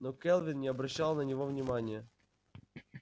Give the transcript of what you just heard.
но кэлвин не обращал на него внимания